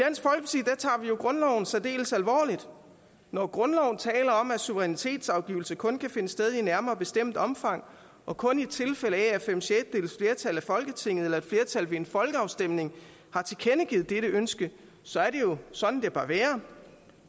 jo grundloven særdeles alvorligt når grundloven taler om at suverænitetsafgivelse kun kan finde sted i nærmere bestemt omfang og kun i tilfælde af at fem sjettedeles flertal i folketinget eller et flertal ved en folkeafstemning har tilkendegivet dette ønske så er det jo sådan det bør være